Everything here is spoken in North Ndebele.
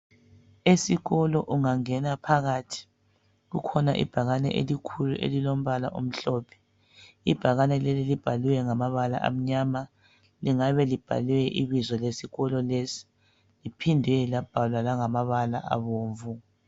Esikolo ungangena phakathi kukhona ibhakane elikhulu elilombala omhlophe . Ibhakane leli libhalwe ngamabala amnyama. Lingabe libhalwe ibizo lesikolo lesi liphinde labhalwa langamabala abomvu.